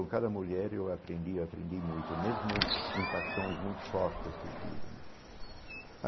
A cada mulher eu aprendi aprendi muito, mesmo em paixões muito fortes que eu tive né.